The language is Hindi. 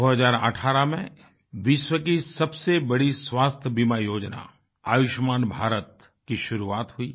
2018 में विश्व की सबसे बड़ी स्वास्थ्य बीमा योजना आयुष्मान भारत की शुरुआत हुई